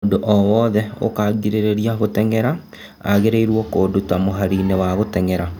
"Mũndu owothe ũkangirĩrĩria gũteng'era agĩrĩirwo kũnduta mũhari-inĩ wa gũteng'era".